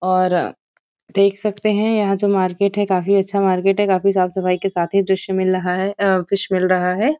और देख सकते हैं यहां जो मार्केट है काफी अच्छा मार्केट है काफी साफ सफाई के साथ यह दृश्य मिल रहा है दृश्य मिल रहा है|